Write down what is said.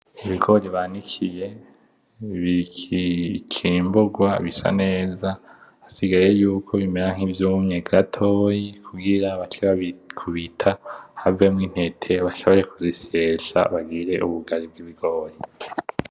Ibigori babikiye bicimburwa bisa neza hasigaye ko bimera nkivyumye gatoyi kugira bace babikubita havemwo intete bace baja bazisyesha bigire ubugari bwibigori